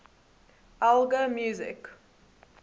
elgar music